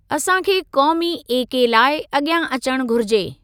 असां खे क़ौमी एके लाइ अगि॒यां अचणु घुरिजे।